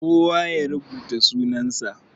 Kowa ya rubuta sunan sa.